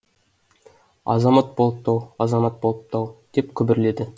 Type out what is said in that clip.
азамат болыпты ау азамат болыпты ау деп күбірледі